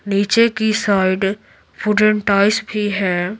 नीचे की side wooden ties भी है।